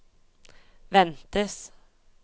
ventes